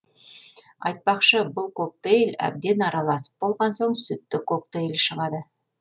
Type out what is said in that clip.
айтпақшы бұл коктейль әбден араласып болған соң сүтті коктейль шығады